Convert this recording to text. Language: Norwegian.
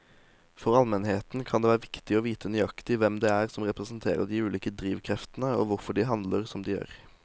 For allmennheten kan det være viktig å vite nøyaktig hvem det er som representerer de ulike drivkreftene og hvorfor de handler som de gjør.